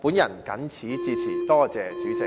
我謹此陳辭，多謝主席。